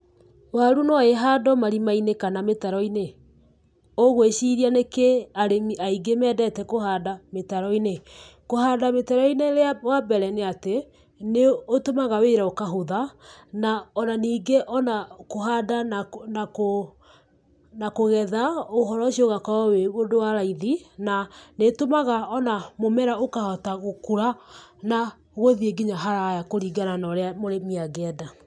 Waru no ihandwo marima-inĩ kana mĩtaro-inĩ. Ũgwĩciria nĩkĩĩ arĩmi aingĩ mendete kũhanda mĩtaro-inĩ? Kũhanda mĩtaro-inĩ wa mbere nĩ atĩ, nĩ ũtũmaga wĩra ũkahũtha na o na ningĩ o na kũhanda na na kũgetha ũhoro ũcio ũgakorwo wĩ ũndũ wa raithi, na nĩĩtũmaga o na mũmera ũkahota gũkũra na gũthiĩ nginya haraya kũringana na ũrĩa mũrĩmi angĩenda.